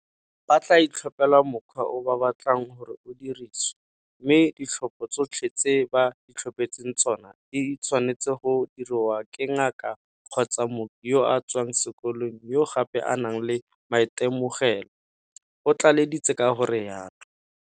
Ba tla itlhophela mokgwa o ba batlang gore o dirisiwe, mme ditlhopho tsotlhe tse ba itlhophetseng tsona di tshwanetswe go diriwa ke ngaka kgotsa mooki yo a tswang sekolong yo gape a nang le maitemogelo, o tlaleleditse ka go rialo.